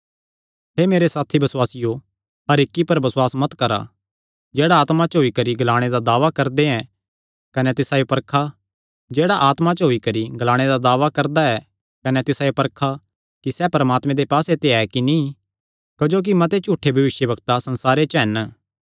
हे मेरे साथी बसुआसियो हर इक्की पर बसुआस मत करा जेह्ड़ा आत्मा च होई करी ग्लाणे दा दावा करदा ऐ कने तिसायो परखा कि सैह़ परमात्मे दे पास्से ते ऐ कि नीं क्जोकि मते झूठे भविष्यवक्ता संसारे च हन